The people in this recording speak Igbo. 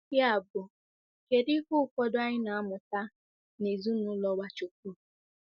Yabụ kedu ihe ụfọdụ anyị na-amụta nezinaụlọ Nwachukwu?